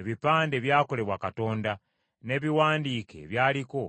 Ebipande byakolebwa Katonda, n’ebiwandiike ebyaliko